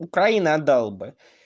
украина отдал бы